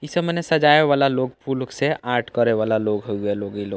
इ सब मने सजाये वाला लोग फूल उक से आर्ट करे वाला लोग हउआ लोग इ लोग ।